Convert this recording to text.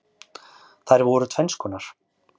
Þær voru tvenns konar.